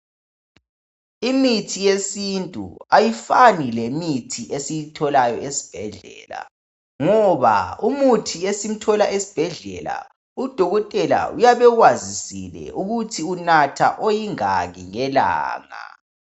Imithi yesintu ayifani lemithi esiyitholayo esibhedlela, ngoba imithi esiyithola esibhedlela udokotela uyabe ekwazisile ukuthi unatha isilinganiso esingaki ngelanga.